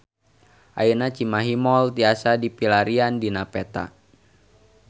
Ayeuna Cimahi Mall tiasa dipilarian dina peta